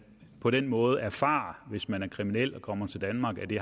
på den måde erfarer hvis man er kriminel og kommer til danmark at det